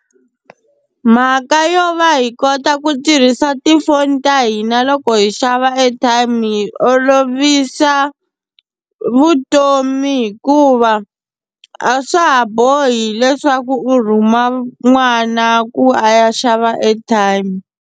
Mhaka yo va hi kota ku tirhisa tifoni ta hina loko hi xava airtime hi olovisa vutomi hikuva a swa ha bohi leswaku u rhuma n'wana ku a ya xava airtime.